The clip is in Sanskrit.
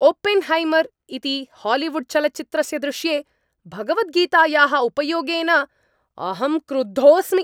ओपेन्हैमर् इति हालीवुड्चलच्चित्रस्य दृश्ये भगवद्गीतायाः उपयोगेन अहं क्रुद्धोस्मि।